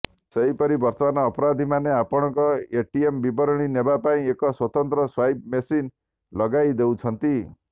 ସେହିପରି ବର୍ତ୍ତମାନ ଅପରାଧୀମାନେ ଆପଣଙ୍କ ଏଟିଏମ୍ ବିବରଣୀ ନେବା ପାଇଁ ଏକ ସ୍ୱତନ୍ତ୍ର ସ୍ୱାଇପ୍ ମେସିନ୍ ଲଗାଇଦେଉଛନ୍ତି